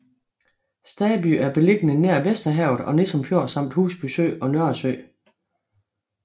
Staby er beliggende nær Vesterhavet og Nissum Fjord samt Husby Sø og Nørresø